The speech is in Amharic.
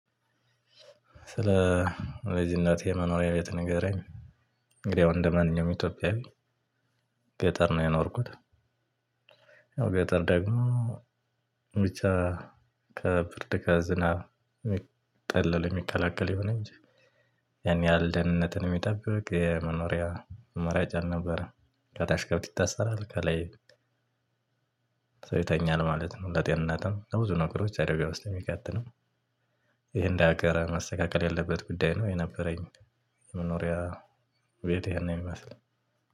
ስለ ልጂነቴ የመኖሪያ ቤት ንገረኝ? እንግዲያው እንደ ማንኛውም ኢትዮጵያዊ ገጠር ነው የኖርኩት። ያው ገጠር ደግሞ ብቻ ከብርድ ጋር ከዝናብ የሚጠለል የሚከላከል ይሁን እንጂ። ያን ያህል ደህንነትን የሚጠብቅ የመኖሪያ አማራጫ አልነበረ ም ከታች ከብት ይታሰራል ከላይ ሰው ይተኛል ማለት ነው። ለጤንነትም ለብዙ ነገሮች አደጋ ውስጥ የሚከት ነው። ይሄን እንደ አገር መስተካከል ያለበት ጉዳይ ነው የነበረኝ። የመኖሪያ ቤት ይሄን ነው የሚመስለው።